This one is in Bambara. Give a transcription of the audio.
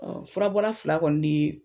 fura bɔla fila kɔni ni